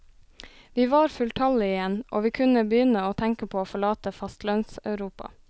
Vi var fulltallige igjen og vi kunne begynne å tenke på å forlate fastlandseuropa.